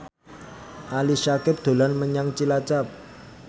Ali Syakieb dolan menyang Cilacap